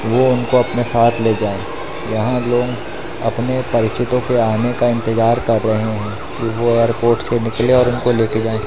वो उनको अपने साथ ले जाएं जहां लोग अपने परिचितों के आने का इंतजार कर रहे हैं कि वो और कोर्ट से निकलें और उनको ले के जाएं।